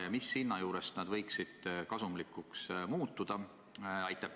Ja mis hinna juures nad võiksid kasumlikuks muutuda?